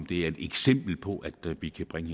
det er et eksempel på at vi kan bringe